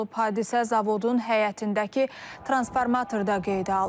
Hadisə zavodun həyətindəki transformatorda qeydə alınıb.